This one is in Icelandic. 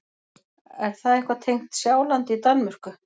Er það eitthvað tengt Sjálandi í Danmörku?